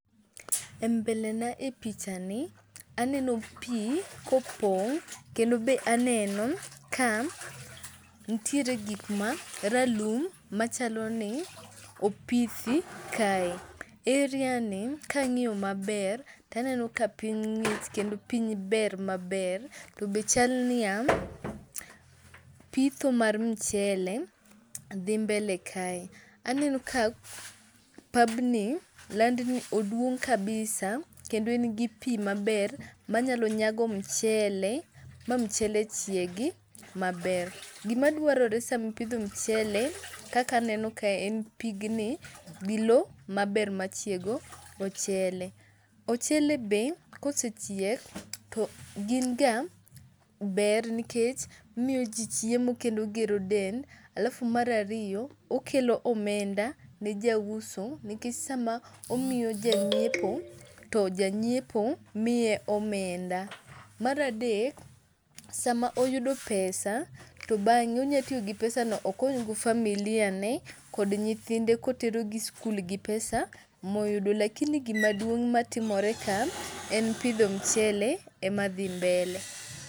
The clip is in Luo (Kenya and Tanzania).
E mbele na e pichani aneno pii kopong' kendo be aneno ka ntiere gik ma ralum machaloni opithi kae. Area ni kang'iyo maber taneno ka piny ng'ich kendo piny ber maber. Tobe chalniya pitho mar mchele dhi mbele kae. Aneno ka pabni, land ni oduong' kabisa kendo en gi pii maber manyalo nyago mchele ma mchele chiegi maber. Gimaduarore samipidho mchele kaka aneno kae en pigni gi loo maber machiego ochele. Ochele be kosechiek to ginga ber nikech omiyo jii chiemo kendo ogero del alafu[cs[ mar ariyo okelo omenda ne jauso nikech sama omiyo janyiepo to janyiepo miye omenda. Mar adek sama oyudo pesa to bang'e onyatiyogi pesa no okonygo familia ne kod nyithinde koterogi skul gi pesa moyudo. Lakini gimaduong' matimore kae en pidho mchele emadhi mbele.